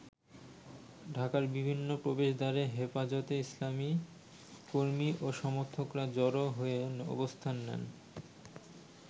ঢাকার বিভিন্ন প্রবেশদ্বারে হেফাজতে ইসলামের কর্মি ও সমর্থকরা জড়ো হয়ে অবস্থান নেন।